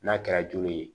N'a kɛra joli ye